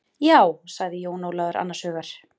Já, sagði Jón Ólafur annars hugar.